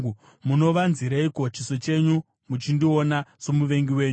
Munovanzireiko chiso chenyu muchindiona somuvengi wenyu?